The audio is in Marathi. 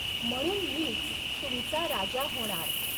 म्हणून मीच तुमचा राजा हॊणार!